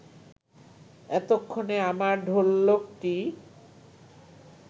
এতক্ষণে আমার ঢোলকটি